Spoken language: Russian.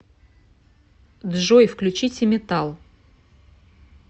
джой включите метал